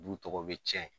Du tɔgɔ bɛ tiɲɛ